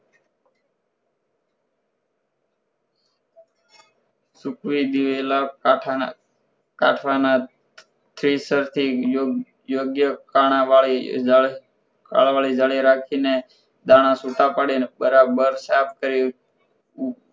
સૂકવી દિવેલા કાથ કથવાના થ્રેસરથી યોગ્ય કાળા વાળી કાળા વાળી જાળી રાખી ને દાણ છુટ્ટા પાડીને બરાબર સાફ કરી